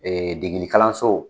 degeli kalanso